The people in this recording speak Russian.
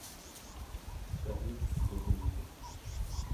салют дудина